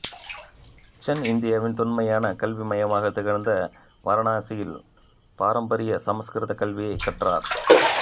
சென் இந்தியாவின் தொன்மையான கல்வி மையமாக திகழ்ந்த வாரணாசியில் பாரம்பரீய சமஸ்க்ருத கல்வியை கற்றார்